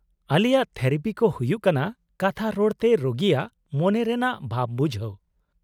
-ᱟᱞᱮᱭᱟᱜ ᱛᱷᱮᱨᱟᱯᱤ ᱠᱚ ᱦᱩᱭᱩᱜ ᱠᱟᱱᱟ ᱠᱟᱛᱷᱟ ᱨᱚᱲᱛᱮ ᱨᱩᱜᱤᱭᱟᱜ ᱢᱚᱱᱮ ᱨᱮᱱᱟᱜ ᱵᱷᱟᱵ ᱵᱩᱡᱷᱟᱹᱣ ᱾